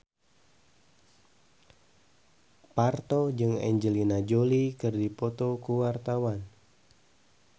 Parto jeung Angelina Jolie keur dipoto ku wartawan